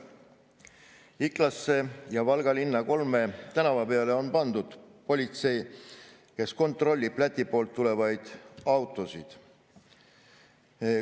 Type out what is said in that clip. Iklasse ja Valga linna kolme tänava peale on pandud politsei, kes kontrollib Läti poolt tulevaid autosid.